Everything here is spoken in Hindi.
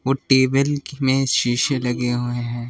वो टेबल में शीशे लगे हुए हैं।